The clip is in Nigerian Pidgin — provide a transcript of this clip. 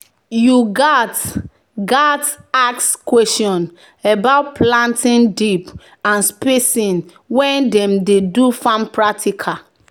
"you gats gats ask question about planting deep and spacing when dem dey do farm practical."